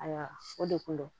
Ayiwa o de ko don